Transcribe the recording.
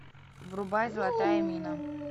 врубай золотая мина